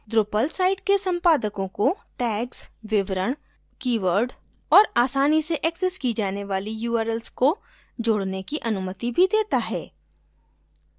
drupal site के संपादकों को tags विवरण कीवर्ड और आसानी से एक्सेस की जाने वाली urls को जोड़ने की अनुमति भी देता है